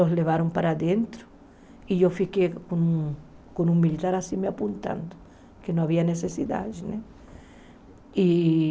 Os levaram para dentro e eu fiquei com com um militar assim me apontando, porque não havia necessidade né e.